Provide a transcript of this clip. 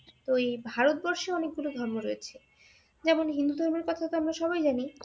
ঐ ভারতবর্ষে অনেকগুলো ধর্ম রয়েছে যেমন হিন্দু ধর্মের কথা তো আমরা সবাই জানি